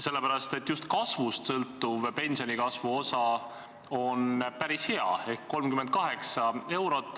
Sest just kasvust sõltuv pensionikasvu osa on päris hea, 38 eurot.